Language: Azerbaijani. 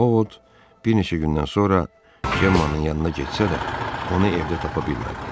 O ovud bir neçə gündən sonra Cemmanın yanına getsə də, onu evdə tapa bilmədi.